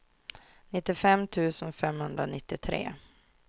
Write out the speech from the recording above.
nittiofem tusen femhundranittiotre